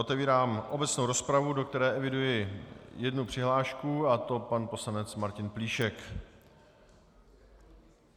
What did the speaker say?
Otevírám obecnou rozpravu, do které eviduji jednu přihlášku, a to pan poslanec Martin Plíšek.